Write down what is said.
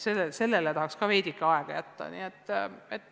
Sellele tahaks ka veidike aega jätta.